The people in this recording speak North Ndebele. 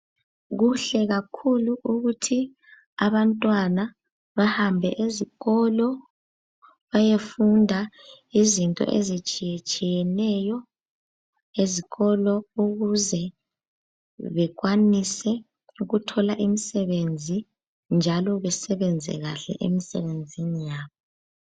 Kuhle kakhulu ukuthi abantwana bahambe ezikolo bayefunda izinto ezitshiyetshiyeneyo ezikolo ukuze bekwanise ukuthola imsebenzi njalo besebenze kahle emsebenzini yabo.